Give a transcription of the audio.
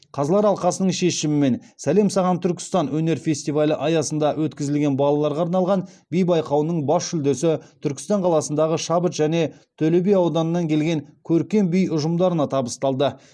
қазылар алқасының шешімімен сәлем саған түркістан өнер фестивалі аясында өткізілген балаларға арналған би байқауының бас жүлдесі түркістан қаласындағы шабыт және төлеби ауданыннан келген көркем би ұжымдарына табысталды